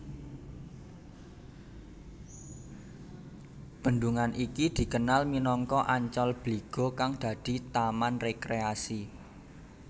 Bendungan iki dikenal minangka Ancol Bligo kang dadi taman rekreasi